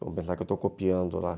Vamos pensar que eu estou copiando lá.